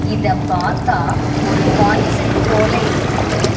இதப் பாத்தா ஒரு கான்செர்ட் போல இருக்கு.